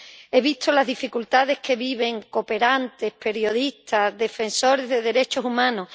He visto las dificultades que viven cooperantes, periodistas, defensores de los derechos humanos